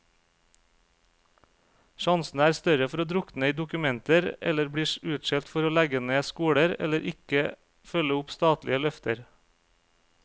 Sjansene er større for å drukne i dokumenter eller bli utskjelt for å legge ned skoler, eller ikke følge opp statlige løfter.